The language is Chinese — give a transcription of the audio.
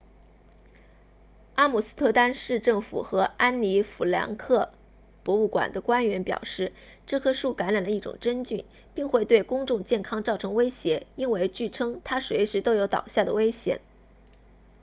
阿姆斯特丹市政府和安妮弗兰克博物馆 anne frank museum 的官员表示这棵树感染了一种真菌并会对公众健康造成威胁因为据称它随时都有倒下的危险